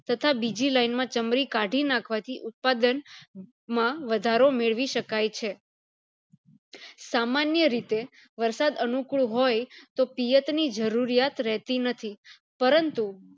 તથા બીજી line માં ચમરી કાઢી નાખવાથી ઉત્પાદન માં વધારો મેળવી શકાય છે સામાન્ય રીતે વરસાદ અનુકુળ હોય તો પિયત ની જરૂરિયાત રહેતી નથી પરંતુ